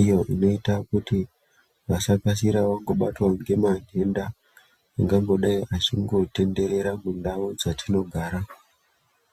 iyo inoitawo kuti vasakasira kubatwawo ngematenda angangodai achitenderera kundawu dzatinogara.